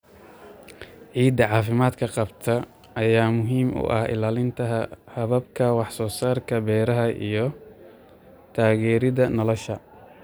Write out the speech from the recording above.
Ciidda caafimaadka qabta ayaa muhiim u ah ilaalinta hababka wax soo saarka beeraha iyo taageeridda noolaha.